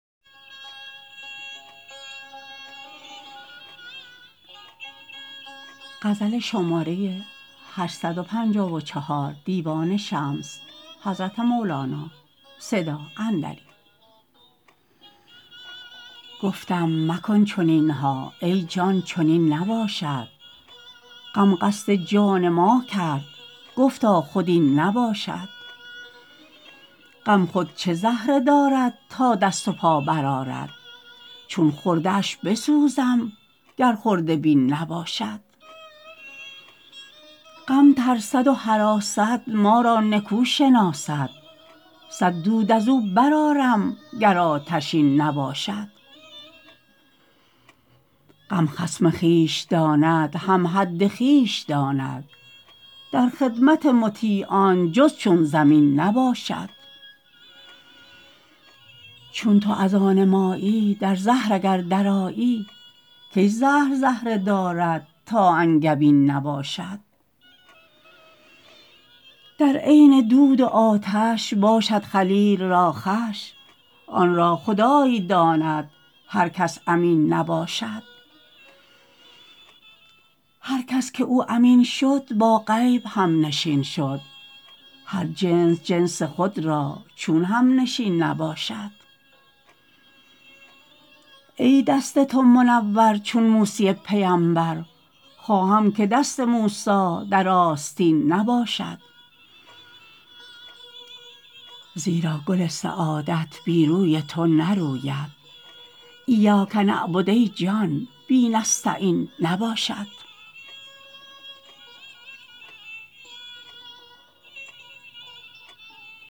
گفتم مکن چنین ها ای جان چنین نباشد غم قصد جان ما کرد گفتا خود این نباشد غم خود چه زهره دارد تا دست و پا برآرد چون خرده اش بسوزم گر خرده بین نباشد غم ترسد و هراسد ما را نکو شناسد صد دود از او برآرم گر آتشین نباشد غم خصم خویش داند هم حد خویش داند در خدمت مطیعان جز چون زمین نباشد چون تو از آن مایی در زهر اگر درآیی کی زهر زهره دارد تا انگبین نباشد در عین دود و آتش باشد خلیل را خوش آن را خدای داند هر کس امین نباشد هر کس که او امین شد با غیب همنشین شد هر جنس جنس خود را چون همنشین نباشد ای دست تو منور چون موسی پیمبر خواهم که دست موسی در آستین نباشد زیرا گل سعادت بی روی تو نروید ایاک نعبد ای جان بی نستعین نباشد